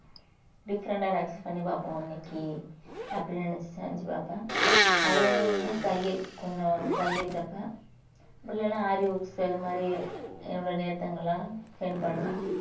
different ஆ ஏதாச்சு பண்ணி பார்ப்போம் இன்னைக்கு அப்படின்னு நினைச்சு செஞ்சு பார்ப்பேன் அது என்ன தையல் கொஞ்சம் தையல் தப்பேன் உள்ளே எல்லாம் இது மாதிரி என்னோட நேர்த்தங்களாம் spend பண்ணுவேன்